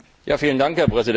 Herr Präsident!